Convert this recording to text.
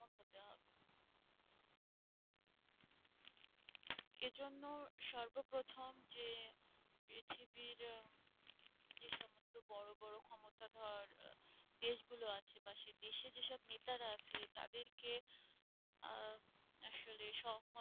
এই জন্য সর্বপ্রথম যে পৃথিবীর যে সমস্ত বড়ো ক্ষমতাধর দেশ গুলো আছে সে দেশে যেসব নেতারা আছে তাদেরকে আসলে সহমত